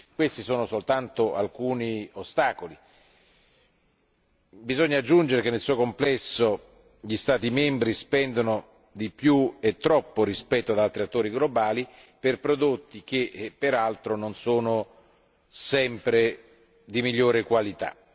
Questi sono soltanto alcuni degli ostacoli. Bisogna aggiungere che, nel complesso, gli Stati membri spendono di più e troppo rispetto ad altri attori globali per prodotti che, peraltro, non sono sempre di migliore qualità.